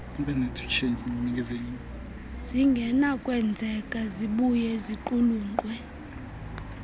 zingenakwenzeka zibuye ziqulunqwe